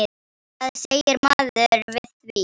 Hvað segir maður við því?